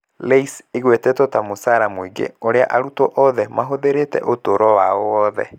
LAYS ĩgwetetwo ta mũcara mũingĩ ũrĩa arutwo othe mahũthĩrĩte ũtũũro wao wothe.